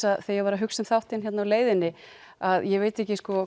að þegar ég var að hugsa um þáttinn á leiðinni ég veit ekki